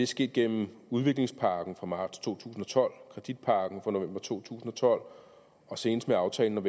sket gennem udviklingspakken fra marts to tusind og tolv kreditpakken fra november to tusind og tolv og senest med aftalen om